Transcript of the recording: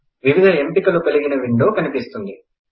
వివిధ ఎంపికలు కలిగిన విండో కనిపిస్తుంది